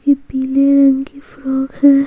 ये पिले रंग की फ्रॉग है।